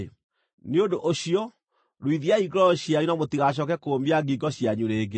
Nĩ ũndũ ũcio, ruithiai ngoro cianyu na mũtigacooke kũũmia ngingo cianyu rĩngĩ.